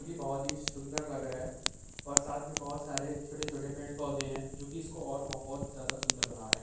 बोहोत ही सुन्दर लग रहा है और साथ म बोहोत सरे छोटे-छोटे पेड-पोधे हैं जो कि इसको और बोहोत ज्यादा सुन्दर बना रहे हैं।